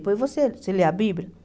Depois você você lê a Bíblia?